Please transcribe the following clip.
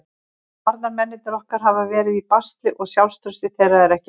Varnarmennirnir okkar hafa verið í basli og sjálfstraustið þeirra er ekki hátt.